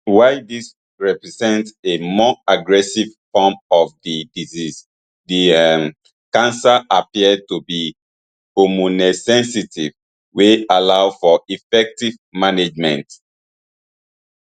while dis represent a more aggressive form of di disease di um cancer appear to be hormonesensitive wey allow for effective management